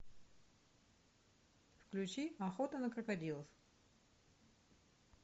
включи охота на крокодилов